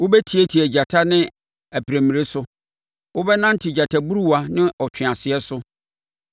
Wobɛtiatia agyata ne aprammire so, wobɛnante gyataburuwa ne ɔtweaseɛ so.